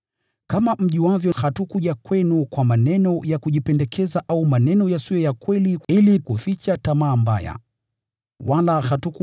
Kama mjuavyo, hatukuja kwenu kwa maneno ya kujipendekeza au maneno yasiyo ya kweli ili kuficha tamaa mbaya: Mungu ndiye shahidi yetu.